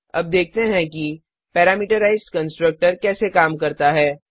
अब देखते हैं कि पैरामेट्राइज्ड कंस्ट्रक्टर कैसे काम करता है